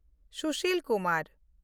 Sushil Kumar